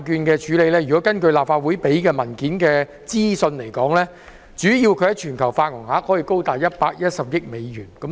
根據立法會文件提供的資料，巨災債券在全球發行額高達110億美元。